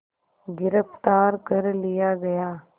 गिरफ़्तार कर लिया गया